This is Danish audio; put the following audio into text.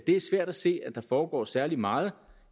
er svært at se at der foregår særlig meget